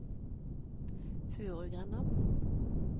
Furugrenda